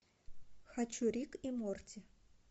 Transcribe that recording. хочу рик и морти